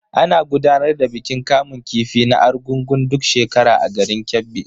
Ana gudanar da bikin kamun kifi na Argungun duk shekara a garin Kebbi.